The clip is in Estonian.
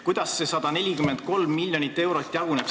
Kuidas see 143 miljonit eurot jaguneb?